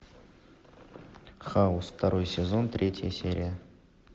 хаус второй сезон третья серия